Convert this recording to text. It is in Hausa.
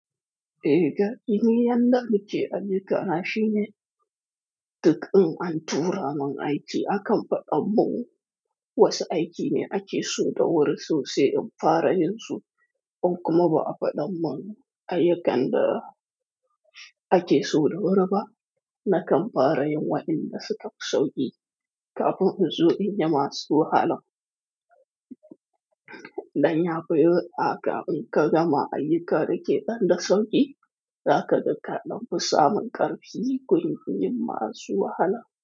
Eh ga ini yanda muke ayyukan na shine, duk in an tura mun aiki akan faɗa mun wasu aiki ne ake so da wuri so sai in fara yin su, in kuma ba a faɗan mun ayyukan da ake so da wuri ba, na kan fara yin wa'inda suka fi sauƙi kafin in zo in yi masu wahalan. Danya fi a ka gama ayyuka da ke ɗan da sauƙi, za ka ga ka ɗan fi sa mun ƙarfi gun yin masu wahala.